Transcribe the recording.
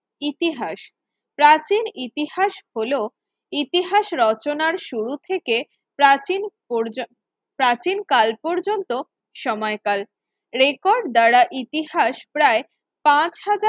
ইতিহাস প্রাচীন ইতিহাস হল ইতিহাস রচনার শুরু থেকে প্রাচীন পর্য প্রাচীন কাল পর্যন্ত সময়কাল রেকর্ড দ্বারা ইতিহাস প্রায় পাঁচ হাজার